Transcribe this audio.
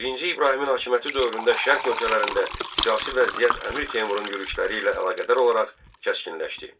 Birinci İbrahimin hakimiyyəti dövründə Şərq ölkələrində siyasi vəziyyət Əmir Teymurun yürüşləri ilə əlaqədar olaraq kəskinləşdi.